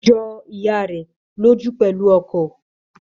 Ó jọ ìyá rẹ̀ lójú pẹ̀lú ọkọ̀